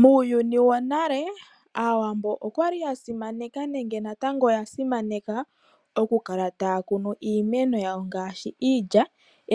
Muuyuni wo nale, Aawambo okwa li ya simaneka nenge natango oya simaneka oku kala taa kunu iimeno yawo ngaashi iilya,